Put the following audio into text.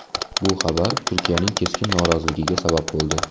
Bu xabar Turkiyaning keskin noroziligiga sabab bo‘ldi.